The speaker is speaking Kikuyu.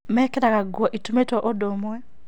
Mekĩraga nguo itumĩtũo ũndũ ũmwe